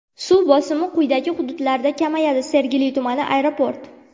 Suv bosimi quyidagi hududlarda kamayadi: Sergeli tumani: Aeroport.